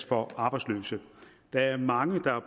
for arbejdsløse der er mange der har